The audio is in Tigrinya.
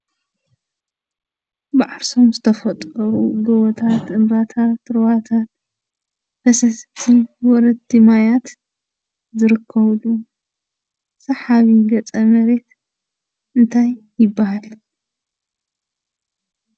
ብዓርሶም ዝተፈጥሩ ጎቦታት፣ እምባታት፣ ሩባታት፣ ፈሰስቲ ወረድቲ ማያት ዝርከብሉ ሰሓቢ ገፀ መሬት እንታይ ይበሃል?